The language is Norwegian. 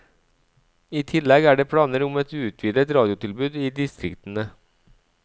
I tillegg er det planer om et utvidet radiotilbud i distriktene.